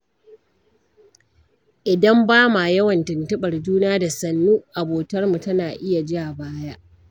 Idan bama yawan tuntuɓar juna, da sannu abotar mu tana iya ja baya.